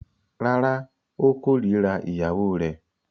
Rárá, ó kórira ìyàwó rẹ̀.